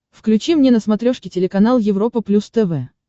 включи мне на смотрешке телеканал европа плюс тв